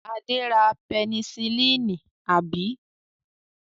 Adé ra pẹnisílínì, àbí?